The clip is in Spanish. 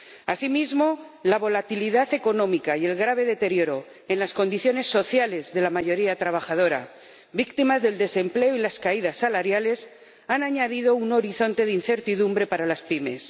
Asimismo, la volatilidad económica y el grave deterioro en las condiciones sociales de la mayoría trabajadora —víctima del desempleo y las caídas salariales— han añadido un horizonte de incertidumbre para las pymes.